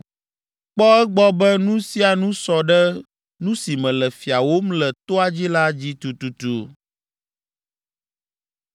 “Kpɔ egbɔ be nu sia nu sɔ ɖe nu si mele fiawòm le toa dzi la dzi tututu.”